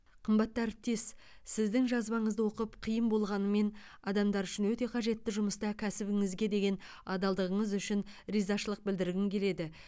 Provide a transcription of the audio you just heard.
қымбатты әріптес сіздің жазбаңызды оқып қиын болғанымен адамдар үшін өте қажетті жұмыста кәсібіңізге деген адалдығыңыз үшін ризашылық білдіргім келеді